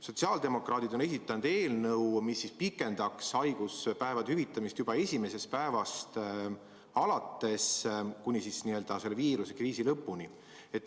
Sotsiaaldemokraadid on esitanud eelnõu, mis pikendaks haiguspäevade hüvitamist juba esimesest päevast alates, ja seda kuni viirusekriisi lõpuni.